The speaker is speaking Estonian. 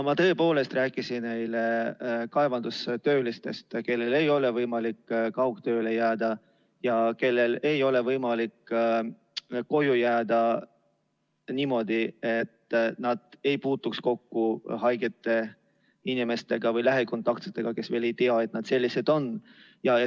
Ma tõepoolest rääkisin eile kaevandustöölistest, kellel ei ole võimalik kaugtööle jääda ja kellel ei ole võimalik koju jääda, et nad ei puutuks kokku haigete inimestega või lähikontaktsetega, kes veel ei tea, et nad on.